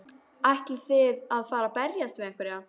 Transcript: Ætlið þið að fara að berjast við einhverja?